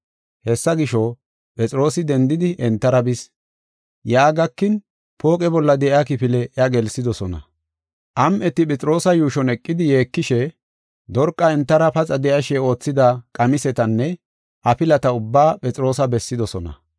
Hessa gisho, Phexroosi dendidi, entara bis. Yaa gakin, pooqe bolla de7iya kifile iya gelsidosona. Am7eti Phexroosa yuushon eqidi yeekishe Dorqa entara paxa de7ashe oothida qamisetanne afilata ubbaa Phexroosa bessidosona.